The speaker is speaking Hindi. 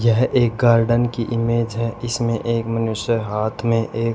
यह एक गार्डन की इमेज है इसमें एक मनुष्य हाथ में एक--